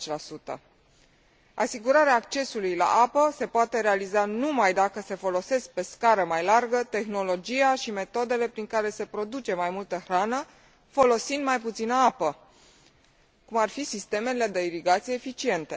90. Asigurarea accesului la apă se poate realiza numai dacă se folosesc pe scară mai largă tehnologia și metodele prin care se produce mai multă hrană folosind mai puțină apă, cum ar fi sistemele de irigație eficiente.